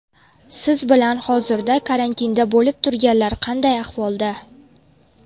Siz bilan hozirda karantinda bo‘lib turganlar qanday ahvolda?